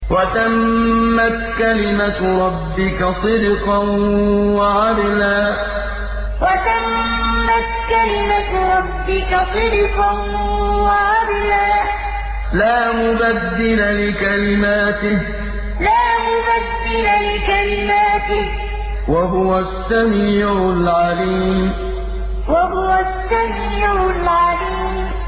وَتَمَّتْ كَلِمَتُ رَبِّكَ صِدْقًا وَعَدْلًا ۚ لَّا مُبَدِّلَ لِكَلِمَاتِهِ ۚ وَهُوَ السَّمِيعُ الْعَلِيمُ وَتَمَّتْ كَلِمَتُ رَبِّكَ صِدْقًا وَعَدْلًا ۚ لَّا مُبَدِّلَ لِكَلِمَاتِهِ ۚ وَهُوَ السَّمِيعُ الْعَلِيمُ